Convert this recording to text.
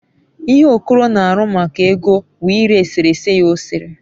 ihe okoro n'aru maka ego wu ire esereye ya osere